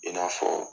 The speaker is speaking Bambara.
I n'a fɔ